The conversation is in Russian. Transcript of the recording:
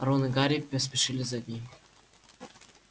рон и гарри поспешили за ней